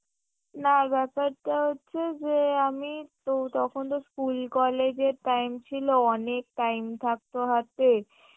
না ব্যাপারটা হচ্ছে যে আমি তো~ তখন তো স্কুল college এর time ছিলো অনেক time থাকত হাতে